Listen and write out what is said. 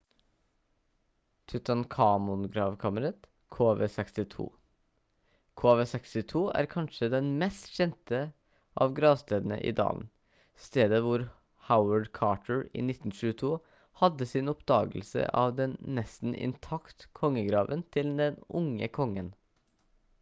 tutankhamon-gravkammeret kv62. kv62 er kanskje den mest kjente av gravstedene i dalen stedet hvor howard carter i 1922 hadde sin oppdagelse av den nesten intakt kongegraven til den unge kongen